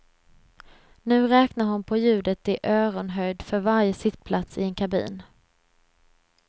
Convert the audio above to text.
Nu räknar hon på ljudet i öronhöjd för varje sittplats i en kabin.